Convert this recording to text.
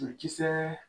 Kisɛ